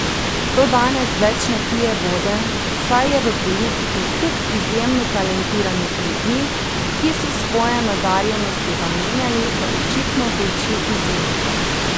To danes več ne pije vode, saj je v politiki kup izjemno talentiranih ljudi, ki so svoje nadarjenosti zamenjali za očitno večji izziv.